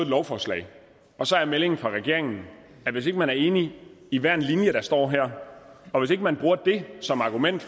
lovforslag og så er meldingen fra regeringen at hvis ikke man er enige i hver en linje der står her og hvis ikke man bruger det som argument